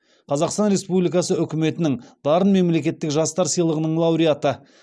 қазақстан республикасы үкіметінің дарын мемлекеттік жастар сыйлығының лауреаты